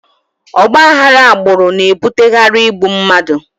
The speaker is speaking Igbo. Ọgba aghara agbụrụ na-ebutekarị igbu mmadụ